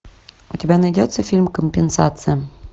у тебя найдется фильм компенсация